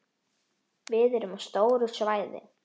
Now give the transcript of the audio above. Við erum á stóru svæði.